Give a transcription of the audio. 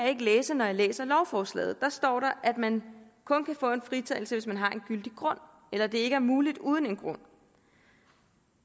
ikke læse når jeg læser lovforslaget der står der at man kun kan få en fritagelse hvis man har en gyldig grund eller at det ikke er muligt uden en grund